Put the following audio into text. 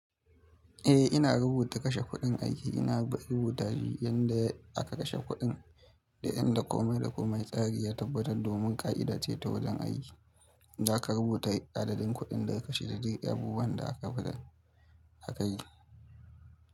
Eh, ina rubuta kashe kuɗin aiki. Ina rubuta shi ƴanda aka kashe kuɗin da ƴan da komai da komai tsari ya tabbatar domin ƙa'ida ce ta wajen aiki. Za ka rubuta adadin kuɗin da aka kashe da duk abubuwan da aka yi.